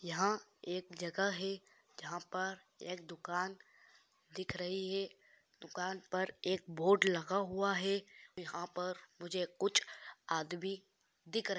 यहाँ पर कुछ आदमी दिखाई रहे है